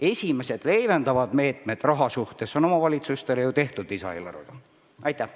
Esimesed leevendavad meetmed on omavalitsustele aga lisaeelarvega võimaldatud.